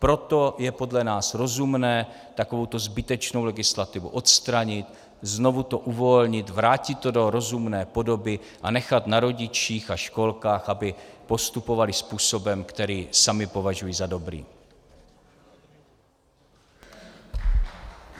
Proto je podle nás rozumné takovouto zbytečnou legislativu odstranit, znovu to uvolnit, vrátit to do rozumné podoby a nechat na rodičích a školkách, aby postupovali způsobem, který sami považují za dobrý.